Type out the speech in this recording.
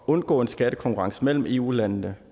undgå en skattekonkurrence mellem eu landene